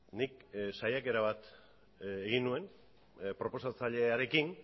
nik saiakera bat egin nuen proposatzailearekin